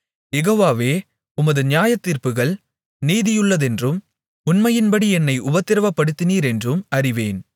யெகோவாவே உமது நியாயத்தீர்ப்புகள் நீதியுள்ளதென்றும் உண்மையின்படி என்னை உபத்திரவப்படுத்தினீரென்றும் அறிவேன்